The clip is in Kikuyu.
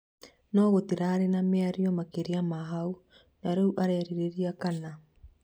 no gũtirarĩ na mĩario makĩria ma haũ na rĩu arerirĩria kana